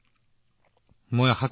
এইটো নিশ্চিতভাৱে এটা ভাল আৰম্ভণি